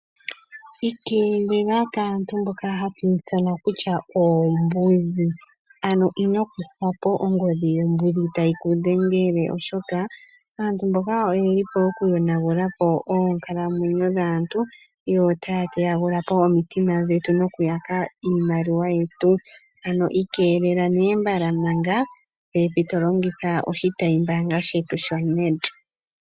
Iikeelela kaantu mboka hatu ithana kutya oombudhi, ano ino kutha po ongodhi yombudhi tayi ku dhengele oshoka aantu mboka oye lipo oku yonagula po oonkalamwenyo dhaantu. Yo taya teyagula po omitima dhetu noku yaka iimaliwa yetu, ano ikelela nee mbala manga pepi to longitha oshitayimbaanga shetu shoNed.